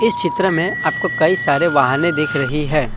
चित्र में आपको कई सारे वाहने दिख रही है।